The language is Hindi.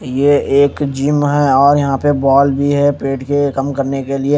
ये एक जिम है और यहां पे बॉल भी है पेट के कम करने के लिए।